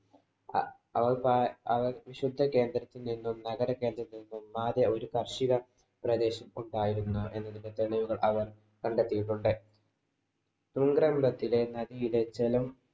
വിശുദ്ധ കേന്ദ്രത്തില്‍ നിന്നും, നഗര കേന്ദ്രത്തില്‍ നിന്നും ഒന്നാകെ ഒരു കാര്‍ഷിക പ്രദേശം ഉണ്ടായിരുന്നു. എന്നതിന്‍റെ തെളിവുകള്‍ അവര്‍ കണ്ടെത്തിയിട്ടുണ്ട് നദിയിലെ ജലം